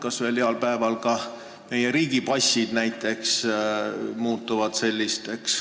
Kas ühel heal päeval muutuvad näiteks ka meie riigi passid sellisteks dokumentideks?